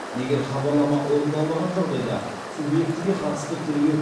егер хабарлама орындалмаған жағдайда субъектіге қатысты тергеу